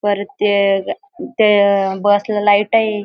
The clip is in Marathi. परत ते ग ते बसला लाईट आहे.